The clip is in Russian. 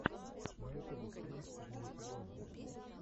на ютубе стрим денис игонин